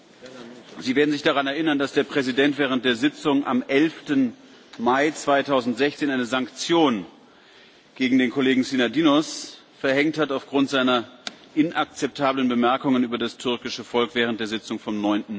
Bevor wir zur Abstimmung kommen, habe ich noch eine Erklärung abzugeben. Sie werden sich daran erinnern, dass der Präsident am 11. Mai 2016 eine Sanktion gegen den Kollegen Synadinos aufgrund dessen inakzeptabler Bemerkungen über das türkische Volk während der Sitzung vom